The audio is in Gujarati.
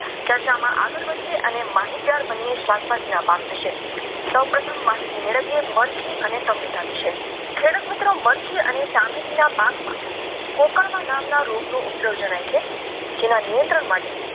અને માહિતગાર બનીએ ના પાક વિશે સૌપ્રથમ માહિતી મેળવીએ અને સમજતા વિશે ખેડૂત મિત્રો મળતી અને સામેથી પાકમાં નામના રોગો ઉપદ્રવ જણાય છે તેના નિયંત્રણ માટે